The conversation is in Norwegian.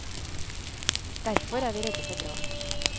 Derfor er vi redde for brann.